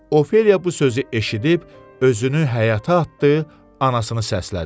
Ofeliya bu sözü eşidib özünü həyata atdı, anasını səslədi.